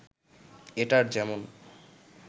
এটার যেমন